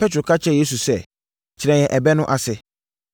Petro ka kyerɛɛ Yesu sɛ, “Kyerɛ yɛn ɛbɛ no ase.”